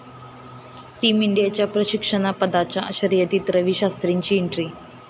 team इंडियाच्या प्रशिक्षकपदाच्या शर्यतीत रवी शास्त्रींची एंट्री